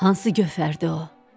Hansı gövhərdi o?